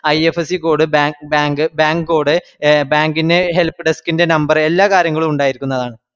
IFSCcode, bank, bank code, bank ന്റെ helpdesk ൻറെ number എല്ലാകാര്യങ്ങളും ഉണ്ടായിരിക്കുന്നതാണ്